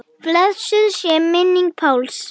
Blessuð sé minning Páls.